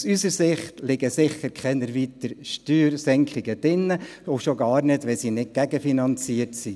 Aus unserer Sicht liegen sicher keine weiteren Steuersenkungen drin, und schon gar nicht, wenn sie nicht gegenfinanziert werden.